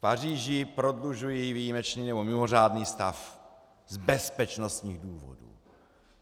V Paříži prodlužují výjimečný nebo mimořádný stav z bezpečnostních důvodů!